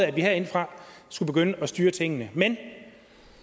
at vi herindefra skulle begynde at styre tingene men